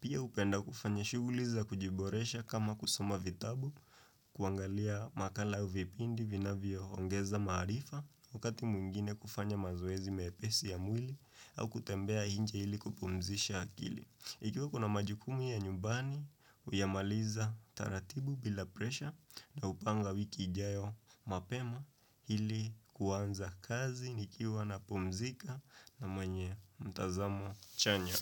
Pia hupenda kufanya shughuli za kujiboresha kama kusoma vitabu, kuangalia makala au vipindi vinavyo ongeza maarifa wakati mwingine kufanya mazoezi mepesi ya mwili au kutembea nje ili kupumzisha akili. Ikiwa kuna majukumu ya nyumbani huyamaliza taratibu bila presha naupanga wiki ijayo mapema ili kuanza kazi nikiwa napumzika na mwenye mtazamo chanya.